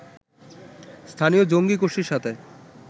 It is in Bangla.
স্থানীয় জঙ্গী গোষ্ঠীর সাথে